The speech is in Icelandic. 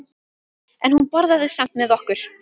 En hún borðaði samt með okkur.